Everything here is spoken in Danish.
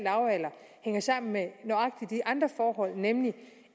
en sammen med nøjagtig de andre forhold nemlig